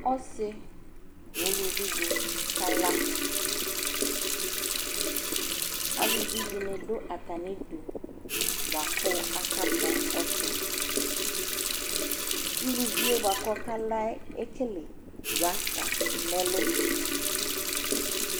ɔsii nʋ ʋlʋvi di kala ,alʋvi dini dʋ atami idʋ bʋakʋ aka kpɔ ɔtsɛ, ʋlʋviɛ bʋakʋ ɔka laɛ ɛkɛlɛ rasta nʋ ɛlʋ